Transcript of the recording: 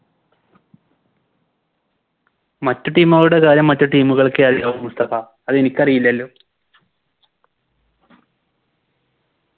മറ്റു Team കളുടെ കാര്യം മറ്റു Team കൾക്കെ അറിയാവൂ മുസ്തഫ അതെനിക്കറിയില്ലല്ലോ